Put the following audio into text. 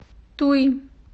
туи